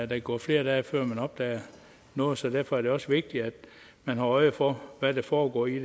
kan gå flere dage før man opdager noget så derfor er det også vigtigt at man har øje for hvad der foregår i